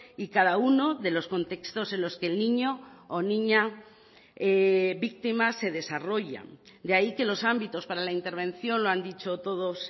y cada uno de los contextos en los que el niño o niña víctimas se desarrollan de ahí que los ámbitos para la intervención lo han dicho todos